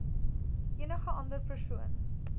enige ander persoon